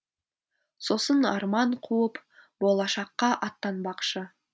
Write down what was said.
сосын арман қуып болашаққа аттанбақшы